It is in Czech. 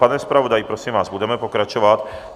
Pane zpravodaji, prosím vás, budeme pokračovat.